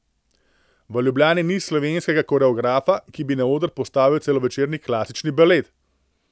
V Ljubljani ni slovenskega koreografa, ki bi na oder postavil celovečerni klasični balet.